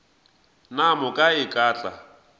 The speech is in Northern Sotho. ka moka e ka tla